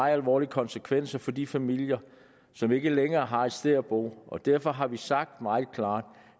alvorlige konsekvenser for de familier som ikke længere har et sted at bo og derfor har vi sagt meget klart